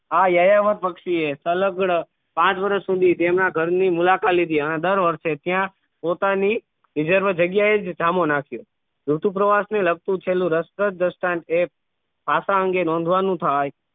આ યાયાવર પક્ષી એ તલગડ પાંચ વર્ષ સુધી તેમના ઘર ની મુલાકાત લીધી આહ દર વર્ષે ત્યાં પોતાની reserve જગ્યાએ જ ધામો નાખ્યો ઋતુ પ્રવાસ ને લગતું છેલ્લું રસપ્રદ દ્રષ્ટાન એ આશા અંગે નોંધવાનું થાય